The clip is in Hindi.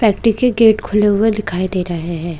फैक्ट्री के गेट खुले हुए दिखाई दे रहे हैं।